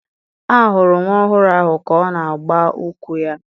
A hụrụ nwa ọhụrụ ahụ ka ọ na-agba ụkwụ ya